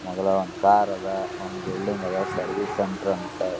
ಮಗಲಾಗ್ ಒಂದ್ ಕಾರ್ ಅದ್ ಒಂದ್ ಬಿಲ್ಡಿಂಗ್ ಅದ್ ಸರ್ವಿಸ್ ಸೆಂಟರ್ ಅಂತ--